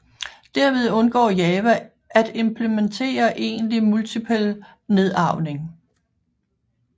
Derved undgår Java at implementere egentlig multipel nedarvning